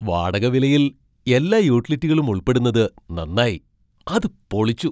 വാടക വിലയിൽ എല്ലാ യൂട്ടിലിറ്റികളും ഉൾപ്പെടുന്നത് നന്നായി. അത് പൊളിച്ചു.